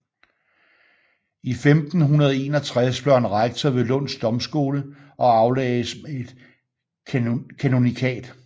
I 1561 blev han rektor ved Lunds Domskole og aflagdes med et kanonikat